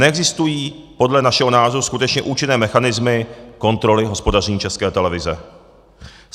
Neexistují podle našeho názoru skutečně účinné mechanismy kontroly hospodaření České televize.